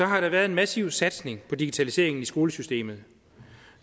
har der været en massiv satsning på digitaliseringen i skolesystemet